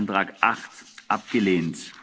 Teil 1 angenommen. Teil